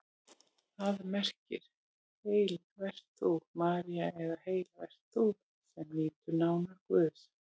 Það merkir: Heil vert þú, María eða Heil vert þú, sem nýtur náðar Guðs.